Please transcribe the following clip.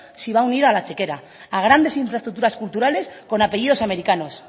si va unida a la chequera a grandes infraestructuras culturales con apellidos americanos